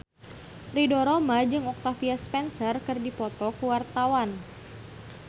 Ridho Roma jeung Octavia Spencer keur dipoto ku wartawan